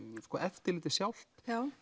sko eftirlitið sjálft